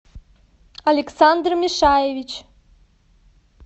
александр мишаевич